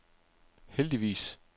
heldigvis